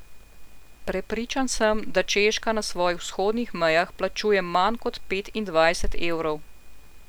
Prepričan sem, da Češka na svojih vzhodnih mejah plačuje manj kot petindvajset evrov.